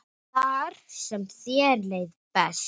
Þar sem þér leið best.